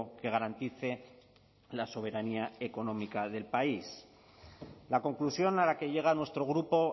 que garantice la soberanía económica del país la conclusión a la que llega a nuestro grupo